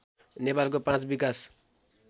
नेपालको पाँच विकास